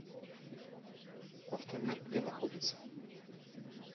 автомир где находится